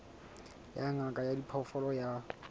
ya ngaka ya diphoofolo ya